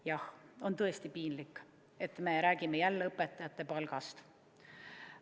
Jah, on tõesti piinlik, et me räägime jälle õpetajate palgast.